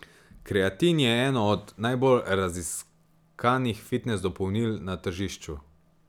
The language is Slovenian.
Kreatin je eno od najbolj raziskanih fitnes dopolnil na tržišču.